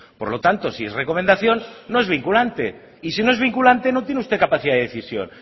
por lo tanto si es recomendación no es vinculante y si no es vinculante no tiene usted capacidad de decisión